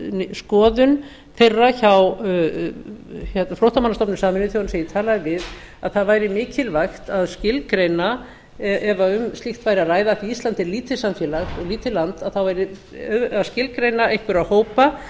skoðun þeirra hjá flóttamannastofnun sameinuðu þjóðanna sem ég talaði við að það væri mikilvægt að skilgreina ef um slíkt væri að ræða því að ísland er lítið samfélag og lítið land að þá yrði að skilgreina einhverja hópa